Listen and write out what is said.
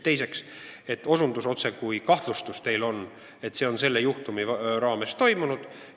Teiseks, teil on kahtlus, et just see on selle juhtumi puhul toimunud.